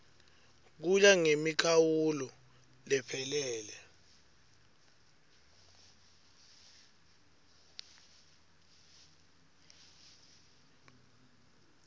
kuya ngemikhawulo lephelele